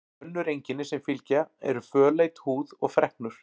Önnur einkenni sem fylgja eru fölleit húð og freknur.